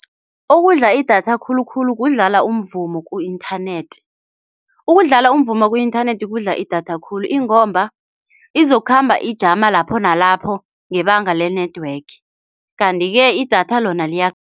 Okudla idatha khulukhulu kudlala umvumo ku-inthanethi. Ukudlala umvumo ku-inthanethi kudla idatha khulu ingomba izokukhamba ijama lapho nalapho ngebanga le-network kanti-ke idatha lona